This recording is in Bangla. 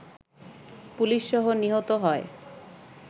পুলিশসহ নিহত হয়